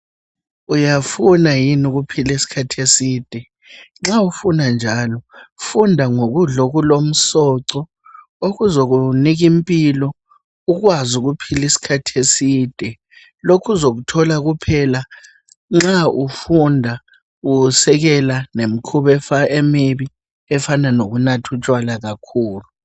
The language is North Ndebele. Uyafuna yini ukuphila isikhathi eside? Nxa ufuna njalo funda ngokudla okulomsoco okuzokunika impilo ukwazi ukuphila isikhathi eside . Lokhu uzokuthola kuphela nxa ufunda usekela lemikhuba emibi efana lokunatha utshwala kakhulu.